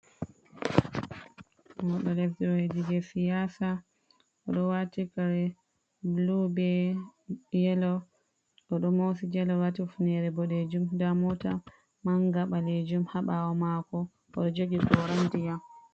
Mauɗo leddi je siyasa. Oɗo waati kare bulu be yelo. Oɗo mosi jala, waati hufnere boɗejum. Nda mota manga ɓalejum haa ɓawo maako. Oɗo jogi gora ndiƴam.